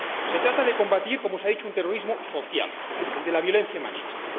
Se trata de combatir, como se ha dicho, un terrorismo social, el de la violencia machista.